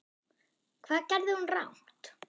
Hvað gerði hún rangt?